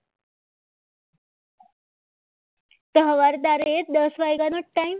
તો સવારે તારે એ દસ વાગે નો ટાઈમ